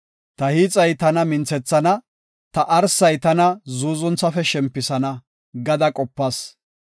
‘Ta hiixay tana minthethana; ta arsay tana zuuzunthafe shempisana!’ gada qopas;